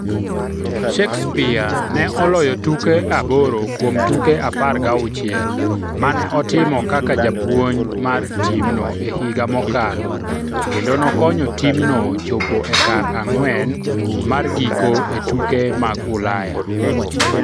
Shakespeare ne oloyo tuke aboro kuom tuke apar gauchiel mane otimo kaka japuonj mar timno e higa mokalo kendo nokonyo timno chopo e kar ang'wen mar giko e tuke mag Ulaya.